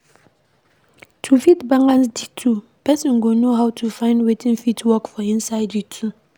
To fit balance di two, person go know how to find wetin fit work for inside di two